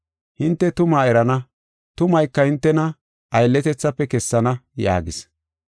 Hinte tumaa erana; tumayka hintena aylletethafe kessana” yaagis.